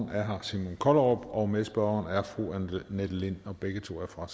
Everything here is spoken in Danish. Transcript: herre simon kollerup og medspørgeren er fru annette lind begge to er fra